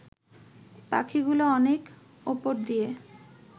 পাখিগুলো অনেক ওপর দিয়ে